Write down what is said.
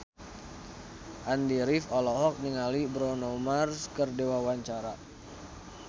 Andy rif olohok ningali Bruno Mars keur diwawancara